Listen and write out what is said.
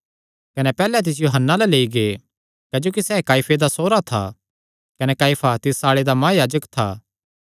कने पैहल्ले तिसियो हन्ना अल्ल लेई गै क्जोकि सैह़ काइफे दा सौरा था कने काइफा तिस साल्ले दा महायाजक था